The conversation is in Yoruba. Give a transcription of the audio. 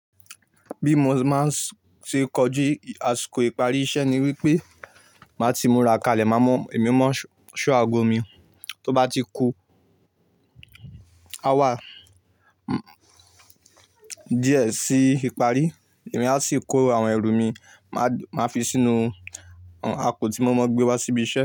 Bí mo ma ṣ ṣe kọjú àsìkò ìparí iṣẹ́ ni wípé máa ti múra kalẹ̀, màá mọ emi mọ́ ṣọ́ àgo mi tó bá ti ku. A wá díẹ̀ sí ìparí, èmi a sì kó àwọn ẹrù mi, màá fi sínú àpò tí mo mọ gbé wá síbi iṣẹ́